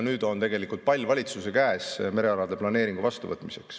Nüüd on pall valitsuse käes, et merealade planeering vastu võtta.